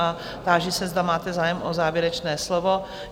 A táži se, zda máte zájem o závěrečné slovo?